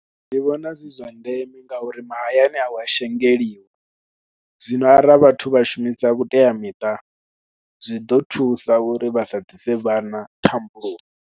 Ndi vhona zwi zwa ndeme ngauri mahayani a hu a shengeliwa zwino ara vhathu vha shumisa vhuteamiṱa, zwi ḓo thusa uri vha sa ḓise vhana thambulomi.